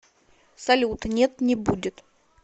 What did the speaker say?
салют нет не будет